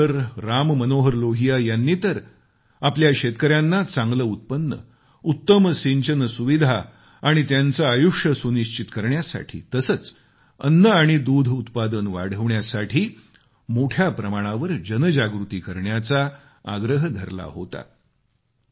डॉ राममनोहर लोहिया यांनी तर आपल्या शेतकऱ्याना चांगले उत्पन्न उत्तम सिंचन सुविधा आणि त्याचं आयुष्य सुनिश्चित करण्यासाठी तसेच अन्न आणि दूध उत्पादन वाढवण्यासाठी मोठ्या प्रमाणावर जनजागृती करण्याचा आग्रह धरला होता